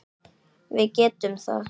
Við getum það.